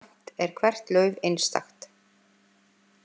Samt er hvert lauf einstakt.